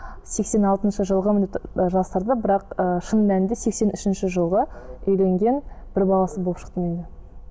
сексен алтыншы жылғымен деп жасырды бірақ ііі шын мәнінде сексен үшінші жылғы үйленген бір баласы болып шықты